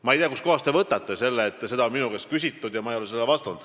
Ma ei tea, kustkohast te võtate selle, et seda pole minu käest küsitud ja ma ei ole sellele vastanud.